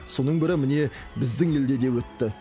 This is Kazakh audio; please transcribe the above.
соның бірі міне біздің елде де өтті